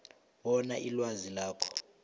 bona ilwazi lakho